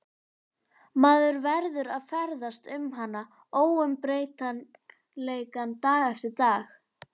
Maður verður að ferðast um hana, óumbreytanleikann, dag eftir dag.